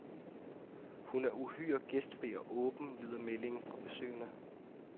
Hun er uhyre gæstfri og åben, lyder meldingen fra besøgende.